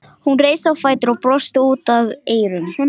Hún reis á fætur og brosti út að eyrum.